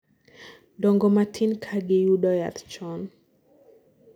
dongo matin ka giyudo yath chon